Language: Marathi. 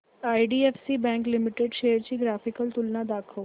आयडीएफसी बँक लिमिटेड शेअर्स ची ग्राफिकल तुलना दाखव